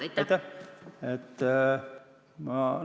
Aitäh!